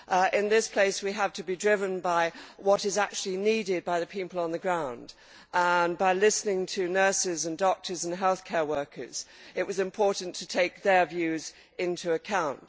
In this place we have to be driven by what is actually needed by the people on the ground and by listening to nurses and doctors and healthcare workers, it was important to take their views into account.